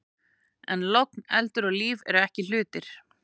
En logn, eldur og líf eru ekki hlutir.